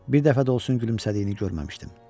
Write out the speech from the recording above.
Bir dəfə də olsun gülümsədiyini görməmişdim.